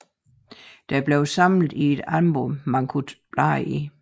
De blev samlet i et album man talt kunne bladre i